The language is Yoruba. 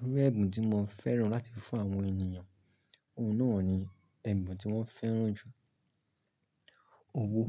Orú ẹ̀bùn tí mo fẹ́ràn láti fún àwọn ènìyàn, ohun náà ni ẹ̀bùn tí wọ́n fẹ́ràn jù, owó.